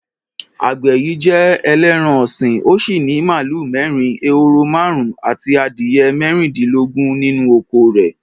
Àgbẹ̀ yìí jẹ ẹlẹ́ran-ọ̀sìn, ó sì ní màlúù mẹ́rin, ehoro márùn-ún àti adìyẹ mẹ́rìndínlógún nínú oko rẹ̀.